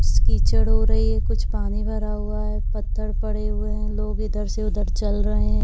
कीच खीचड़ हो रही है कुछ पानी भरा हुवा है पत्थर पड़े हुवे है लोग ईधर से उधर चल रहे है।